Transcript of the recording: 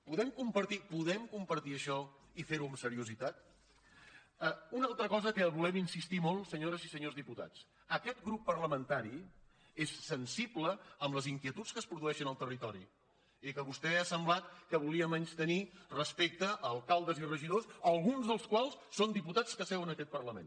podem compartir podem compartir això i fer ho amb seriositat una altra cosa que hi volem insistir molt senyores i senyors diputats aquest grup parlamentari és sensible amb les inquietuds que es produeixen al territori i que vostè ha semblat que volia menystenir respecte a alcaldes i regidors alguns dels quals són diputats que seuen en aquest parlament